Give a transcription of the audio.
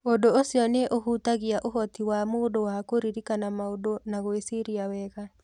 Ũndũ ũcio nĩ ũhutagia ũhoti wa mũndũ wa kũririkana maũndũ na gwĩciria wega.